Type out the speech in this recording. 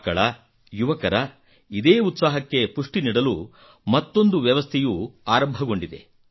ಮಕ್ಕಳ ಯುವಕರ ಇದೇ ಉತ್ಸಾಹಕ್ಕೆ ಪುಷ್ಟಿ ನೀಡಲು ಮತ್ತೊಂದು ವ್ಯವಸ್ಥೆಯು ಆರಂಭಗೊಂಡಿದೆ